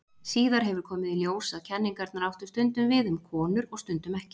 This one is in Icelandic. Síðar hefur komið í ljós að kenningarnar áttu stundum við um konur og stundum ekki.